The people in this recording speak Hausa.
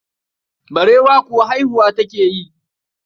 Barewa kuwa haihuwa take yi.